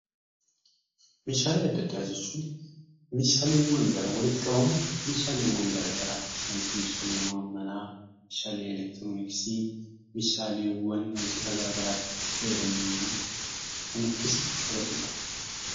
Meeshaalee adda addaa jechuun meeshaalee garaagaraa walitti qabuun Isaanis meeshaalee manaa meeshaalee elektroniksii meeshaaleewwan wantoota garaagaraa kan of keessatti qabatudha.